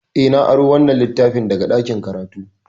Eh, na aro wannan littafin daga ɗakin karatu.